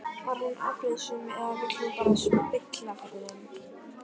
Var hún afbrýðisöm eða vill hún bara spilla fyrir þeim?